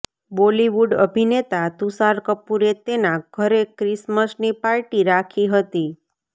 બોલિવૂડ અભિનેતા તુષાર કપૂરે તેના ઘરે ક્રિસમસની પાર્ટી રાખી હતી